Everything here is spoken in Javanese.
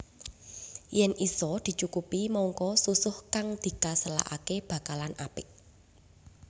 Yèn isa dicukupi mangka susuh kang dikaselaké bakalan apik